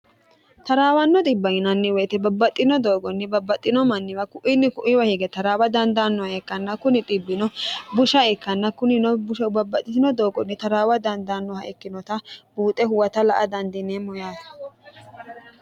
taraawanno dibba yinanni woyite babbaxxino doogonni babbaxxino manniwa ku'inni kuiwa hige taraawa dandaannoha eekkanna kuni dbbino busha ikkanna kunino busha ubabbaxxitino doogonni taraawa dandaannoha ikkinota buuxe huwata la a dandiineemmo yaate